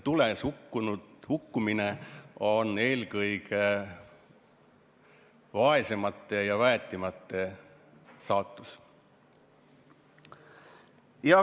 Tules hukkumine on eelkõige vaesemate ja väetimate saatus.